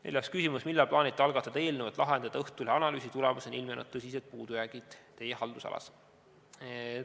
Neljas küsimus: "Millal plaanite algatada eelnõu, et lahendada Õhtulehe analüüsi tulemusena ilmnenud tõsised puudujäägid teie haldusalas?